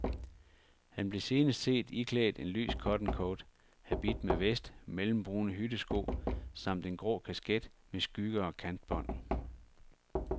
Han blev senest set iklædt en lys cottoncoat, habit med vest, mellembrune hyttesko samt en grå kasket med skygge og kantbånd.